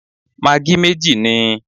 Magí méjì níi